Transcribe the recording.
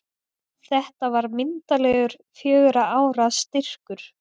Þetta var myndarlegur fjögurra ára styrkur.